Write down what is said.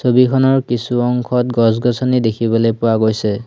ছবিখনৰ কিছু অংশত গছ-গছনি দেখিবলৈ পোৱা গৈছে।